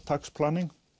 tax planning